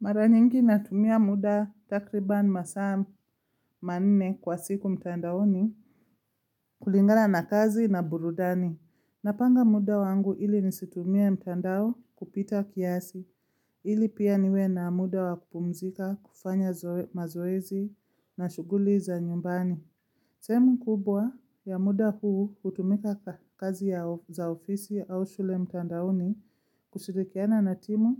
Mara nyingi natumia muda takriban masaa manne kwa siku mtandaoni kulingana na kazi na burudani. Napanga muda wangu ili nisitumie mtandao kupita kiasi, ili pia niwe na muda wa kupumzika, kufanya mazoezi na shughuli za nyumbani. Sehemu kubwa ya muda huu hutumika kazi ya ofisi au shule mtandaoni kushirikiana na timu